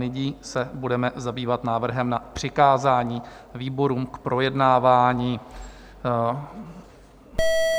Nyní se budeme zabývat návrhem na přikázání výborům k projednávání.